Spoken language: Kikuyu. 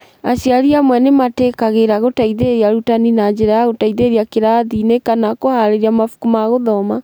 Aciari amwe nĩ metĩkagĩra gũteithĩrĩria arutani na njĩra ya gũteithĩrĩria kĩrathi-inĩ kana kũhaarĩria mabuku ma gũthoma.